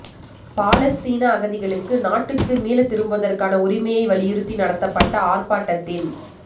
பாலஸ்தீன அகதிகளுக்கு நாட்டுக்கு மீள திரும்புவதற்கான உரிமையை வலியுறுத்தி நடத்தப்பட்ட ஆர்ப்பாட்டத்தின்